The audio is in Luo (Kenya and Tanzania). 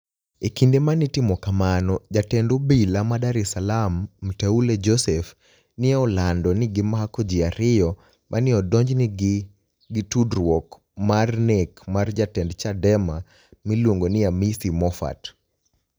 E kinide ma ni e itimo kamano, jatend obilae ma Dar es Salaam Mteule Josephe, ni e olanido nii ni e gimako ji ariyo ma ni e odonijni e ni e gini gi tudruok mar ni ek mar jatend Chadema miluonigo nii Amisi Mophat.